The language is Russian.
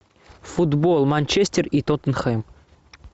футбол манчестер и тоттенхэм